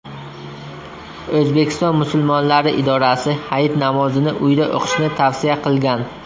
O‘zbekiston musulmonlari idorasi Hayit namozini uyda o‘qishni tavsiya qilgan .